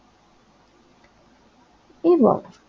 এবং